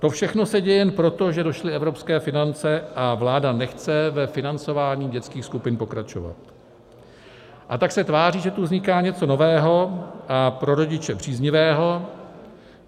To všechno se děje jenom proto, že došly evropské finance a vláda nechce ve financování dětských skupin pokračovat, a tak se tváří, že tu vzniká něco nového a pro rodiče příznivého.